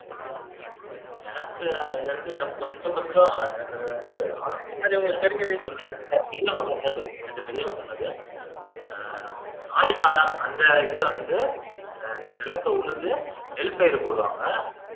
எனக்கு அதுல இருந்து எனக்கு கொஞ்சம் கொஞ்சம் எனக்கு அது வந்து ஆலோசனை இருக்கு ரெண்டு பெரியவங்க சொன்னது ஆஹ் ஆடி காலம் அந்த இதுல வந்து அஹ் நிலத்தை உழுது நெல் பயிர் போடுவாங்க